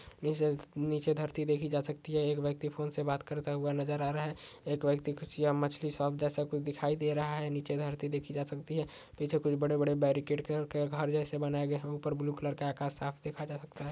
नीचे च- नीचे धरती देखि जा सकती है। एक व्यक्ति फोन से बात करता हुआ नजर आ रहा है। एक व्यक्ति कुछ यह मछ्ली शॉप जैसा कुछ दिखाई दे रहा है। नीचे धरती देखि जा सकती है पीछे कुछ बड़े-बड़े कार जैसे बनाए गए है। ऊपर ब्लू कलर का आकाश साफ देखा जा सकता है।